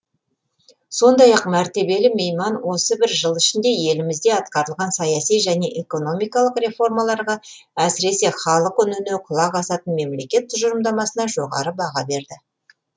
сондай ақ мәртебелі мейман осы бір жыл ішінде елімізде атқарылған саяси және экономикалық реформаларға әсіресе халық үніне құлақ асатын мемлекет тұжырымдамасына жоғары баға берді